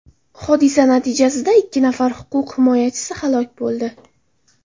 Hodisa natijasida ikki nafar huquq himoyachisi halok bo‘ldi.